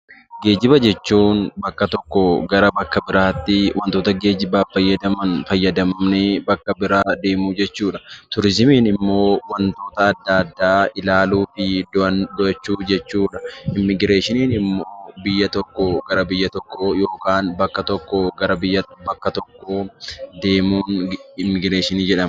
Geejiba jechuun bakka tokkoo gara bakka biraatti waantota geejibaaf fayyadan fayyadamnee bakka biraa deemuu jechuudha. Turizimiin immoo waantota addaa addaa ilaaluu fi daawwachuu jechuudha. Immigireeshinii immoo gara tokkoo gara tokkotti yookaan bakka tokkoo gara bakka biraatti deemuun immigireeshinii jedhama.i